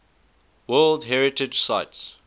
world heritage sites